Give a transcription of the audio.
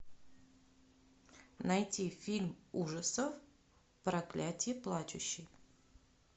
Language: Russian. найти фильм ужасов проклятие плачущей